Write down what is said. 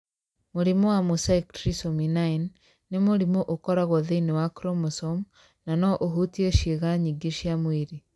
Mũrimũ wa Mosaic trisomy 9 nĩ mũrimũ ũkoragwo thĩinĩ wa chromosome na no ũhutie ciĩga nyingĩ cia mwĩrĩ.